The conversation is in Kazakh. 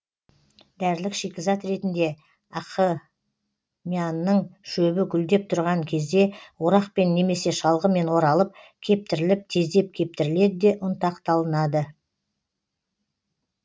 дәрілік шикізат ретінде ақмыяның шөбі гүлдеп тұрған кезде орақпен немесе шалғымен оралып кептіріліп тездеп кептіріледі де ұнтақталынады